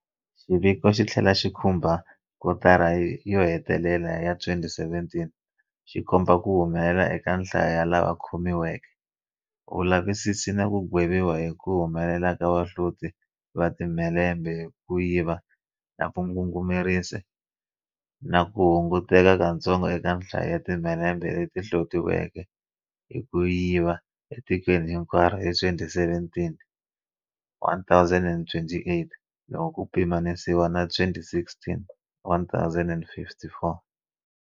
Xiviko xi tlhela xi khumba kotara yo hetelela ya 2017, xi komba ku humelela eka nhlayo ya lava khomiweke, vulavisisi na ku gweviwa hi ku humelela ka vahloti va timhelembe hi ku yiva na vangungumerisi na ku hu nguteka katsongo eka nhlayo ya timhelembe leti hlotiweke hi ku yiva etikweni hinkwaro hi 2017, 1028, loko ku pima nisiwa na 2016, 1054.